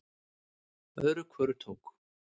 Öðru hvoru tók